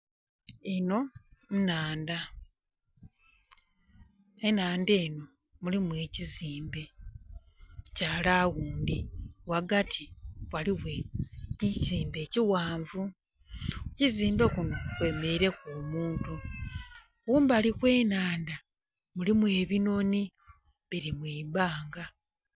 Enho nhandha, enhandha enho, mulimu ekizimbe kya laundhi. Ghagati ghlighe ekizimbe ekighanvu. kukizimbe kunho kwemereireku omuntu. Kumbali kwenhandha mulimu ebinhonhi biri mwibanga.